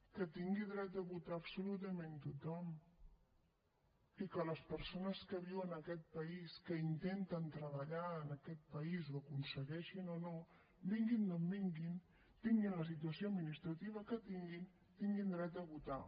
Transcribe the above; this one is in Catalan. que tingui dret a votar absolutament tothom i que les persones que viuen en aquest país que intenten treballar en aquest país ho aconsegueixin o no vinguin d’on vinguin tinguin la situació administrativa que tinguin tinguin dret a votar